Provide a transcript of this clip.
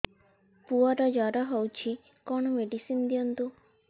ପୁଅର ଜର ହଉଛି କଣ ମେଡିସିନ ଦିଅନ୍ତୁ